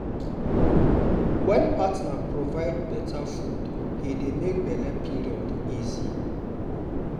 wen partner provide better food e dey make belle period easy.